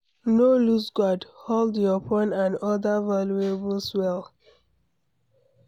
No loose guard, hold your phone and oda valuables well